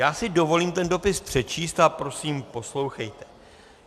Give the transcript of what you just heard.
Já si dovolím ten dopis přečíst a prosím, poslouchejte: